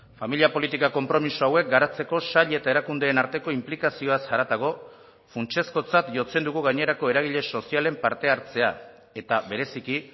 familia politika konpromiso hauek garatzeko sail eta erakundeen arteko inplikazioaz haratago funtsezkotzat jotzen dugu gainerako eragile sozialen parte hartzea eta bereziki